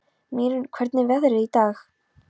Mýrún, hvernig er veðrið í dag?